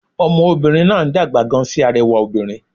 Ọmọ obìnrin náà ń dàgbà gan sí arẹwà obìnrin